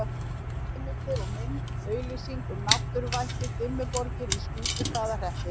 Heimildir og mynd: Auglýsing um náttúruvættið Dimmuborgir í Skútustaðahreppi.